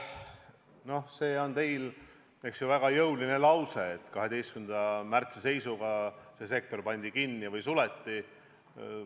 No see on teil väga jõuline lause, et 12. märtsil pandi turismisektor kinni või suleti.